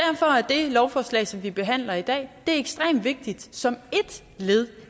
lovforslag som vi behandler i dag ekstremt vigtigt som ét led